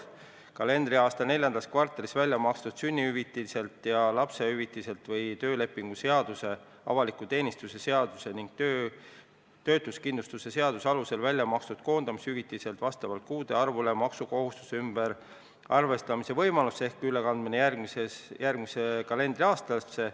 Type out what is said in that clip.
Luuakse kalendriaasta neljandas kvartalis välja makstud sünnitushüvitiselt ja lapsendamishüvitiselt või töölepingu seaduse, avaliku teenistuse seaduse ning töötuskindlustuse seaduse alusel välja makstud koondamishüvitiselt maksukohustuse ümberarvestamise võimalus ehk ülekandmine järgmisesse kalendriaastasse.